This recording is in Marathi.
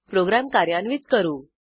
प्रोग्रॅम कार्यान्वित करू